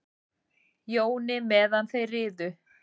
Jóni meðan þeir riðu.